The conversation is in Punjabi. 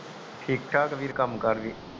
ਠੀਕ ਠਾਕ ਵੀਰ ਕਾਮ ਕਰ ਵੀ